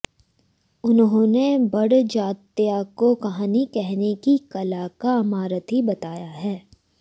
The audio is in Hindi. उन्होंने बड़जात्या को कहानी कहने की कला का महारथी बताया है